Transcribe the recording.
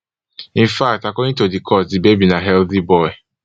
infact according to di court di baby na healthy boy